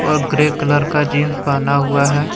और grey colour का jeans पहना हुआ है।